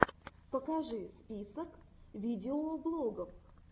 покажи список видеоблогов